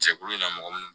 Jɛkulu in na mɔgɔ munnu